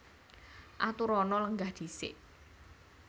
Aturana lenggah dhisik